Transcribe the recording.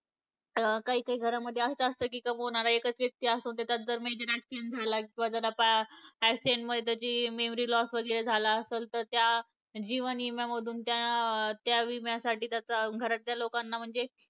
काही काही घरामध्ये असंच असतं की कमावणारा एकच व्यक्ती असतो आणि त्याचाच जर major accident झाला किंवा जर आता accident मध्ये त्याची memory loss वगैरे झाला आसल तर त्या जीवन विम्यामधून त्या त्या विम्यासाठी त्याचा घरातल्या लोकांना म्हणजे